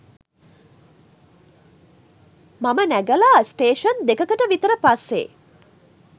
මම නැගලා ස්ටේෂන් දෙකකට විතර පස්සෙ